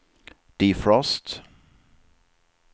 defrost